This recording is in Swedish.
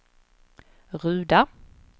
Ruda